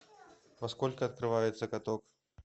во сколько открывается каток